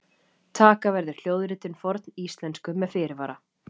Taka verður hljóðritun forníslensku með fyrirvara!